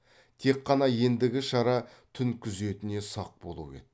тек қана ендігі шара түн күзетіне сақ болу еді